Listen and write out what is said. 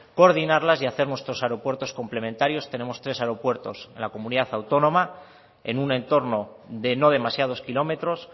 coordinarlas y hacer nuestro aeropuertos complementarios tenemos tres aeropuertos en la comunidad autónoma en un entorno de no demasiados kilómetros